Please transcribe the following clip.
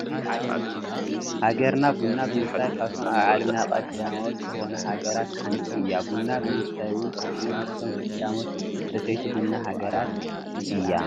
ሃገርና ቡና ብምፍራይ ካብቶም ኣብ ዓለምና ቀዳሞት ዝኾኑ ሃገራት ሃንቲ እያ፡፡ ቡና ብምስታይውን ከምኡ ምስቶም ቀዳሞት ሰተይቲ ቡና ሃገራት እያ፡፡